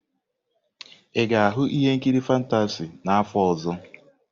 Ị ga-ahụ ihe nkiri fantasy n'afọ ọzọ?